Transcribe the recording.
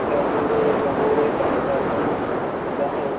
ਮਿੱਠਾ ਗੁੜ ਜਾਂ ਹੋਰ ਇਹ ਬੰਦ ਕਰ ਦੇਣ ਜਾਂ ਉਹ